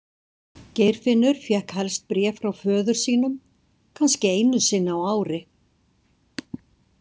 Geirfinnur fékk helst bréf frá föður sínum, kannski einu sinni á ári.